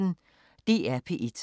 DR P1